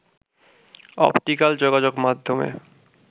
optical যোগাযোগ মাধ্যমে